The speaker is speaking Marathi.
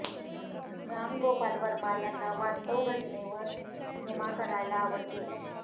राम गोपाल वर्मा यांना वास्तव घटनेवर सिनेमा करायला आवडते